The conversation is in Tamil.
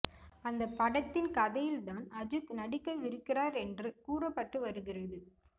அந்த படத்தின் கதையில் தான் அஜித் நடிக்கவிருக்கிறார் என்ற கூறப்பட்டு வருகிறது